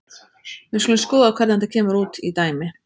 Við skulum skoða hvernig þetta kemur út í dæmi.